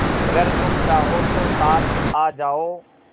अगर तुम चाहो तो साथ आ जाओ